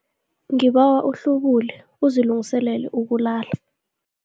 Ngibawa uhlubule uzilungiselele ukulala.